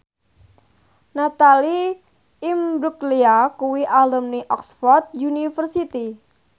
Natalie Imbruglia kuwi alumni Oxford university